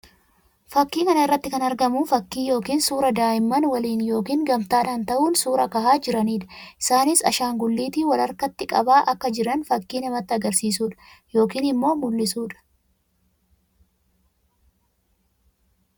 Fakkii kana irratti kan argamu fakkii yookiin suuraa daa'immanii waliin yookiin gamtaadhaan tahuun suuraa kahaa jiranii dha. Isaanis ashaanguliitii wal harkatti qabaa akka jiran fakkii namatti agarsiisuu dha yookiin immoo mullisuu dha.